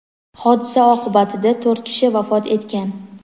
Hodisa oqibatida to‘rt kishi vafot etgan.